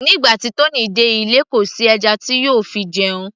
nígbà tí Tony dé ilé kò sí ẹja tí yóò fi jẹun